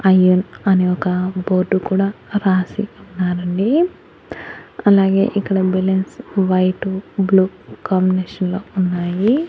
I N అని ఒక board కూడా రాసి ఉన్నారండి అలాగే ఇక్కడ బెలున్స్ వైటు బ్లూ కాంబినేషన్ లో ఉన్నాయి.